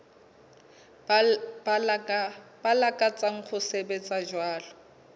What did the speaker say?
ba lakatsang ho sebetsa jwalo